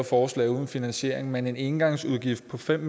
forslag uden finansiering men en engangsudgift på fem